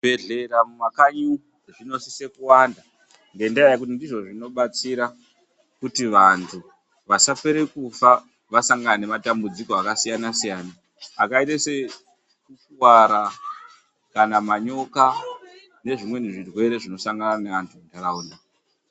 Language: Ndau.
Zvibhehlera mumakanyi zvinosise kuwanda ,ngendaa yekuti ndizvona zvinobetsera kuti anhu asapere kufa kana asangana nematenda akasiyana siyana .Zvakaita sekukuwara maningi nekunzwe manyoka nezvimweni zvitenda zvinodhibhana neanhu munharaundamwo.